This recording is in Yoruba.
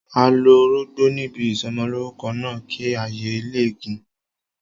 A lo orógbó níbi ìsọmọlórúkọ náà, kí ayé ọmọ lè gùn.